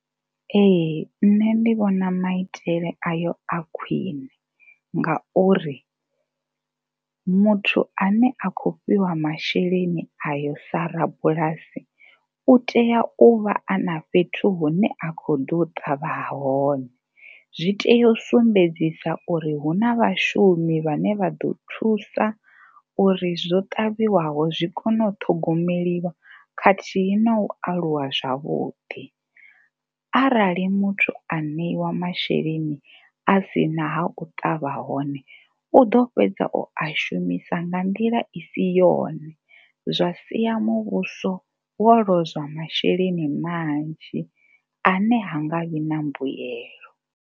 Ee, nṋe ndi vhona maitele ayo a khwine ngauri muthu ane a khou fhiwa masheleni ayo sa rabulasi u tea u vha a na fhethu hune a khou ḓo ṱavha hone. Zwi tea u sumbedzisa uri hu na vhashumi vhane vha ḓo thusa uri zwo ṱavhiwaho zwi kone u ṱhogomeliwa khathihi na u aluwa zwavhuḓi. Arali muthu a ṋeiwa masheleni a si na ha u ṱavha hone u ḓo fhedza o a shumisa nga nḓila i si yone zwa sia muvhuso wo lozwa masheleni manzhi ane ha nga vhi na mbuyelo.